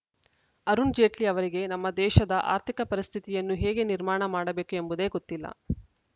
ಅರುಣ್‌ ಜೇಟ್ಲಿ ಅವರಿಗೆ ನಮ್ಮ ದೇಶದ ಆರ್ಥಿಕ ಪರಿಸ್ಥಿತಿಯನ್ನು ಹೇಗೆ ನಿರ್ಮಾಣ ಮಾಡಬೇಕು ಎಂಬುದೇ ಗೊತ್ತಿಲ್ಲ